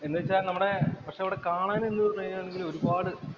എന്ന് വച്ചാ നമ്മുടെ പക്ഷെ അവിടെ കാണാനും, എന്തു ഒരുപാട്